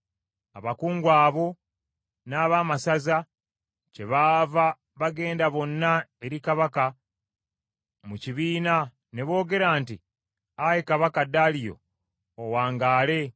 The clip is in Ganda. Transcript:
Abakungu abo n’abaamasaza kyebaava bagenda bonna eri kabaka mu kibiina ne boogera nti, “Ayi kabaka Daliyo, owangaale!